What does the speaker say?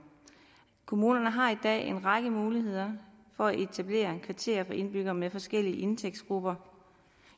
kommunerne har i dag en række muligheder for at etablere kvarterer for indbyggere med forskellige indtægtsgrupper